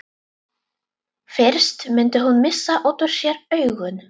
Fyrst mundi hún missa út úr sér augun.